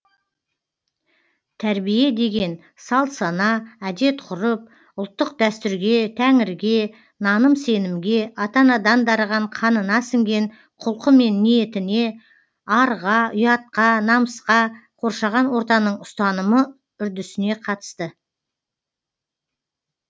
тәрбие деген салт сана әдет ғұрып ұлттық дәстүрге тәңірге наным сенімге ата анадан дарыған қанына сіңген құлқы мен ниетіне арға ұятқа намысқа қоршаған ортаның ұстанымы үрдісіне қатысты